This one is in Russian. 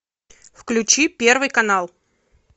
включи первый канал